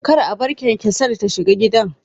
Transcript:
Kar a bar kyankyasar ta shiga gidan